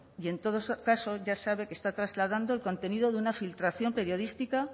y en todo caso ya sabe que está trasladando el contenido de una filtración periodística